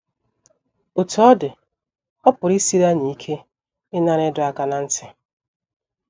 Otú ọ dị, ọ pụrụ isiri anyị ike ịnara ịdọ aka ná ntị.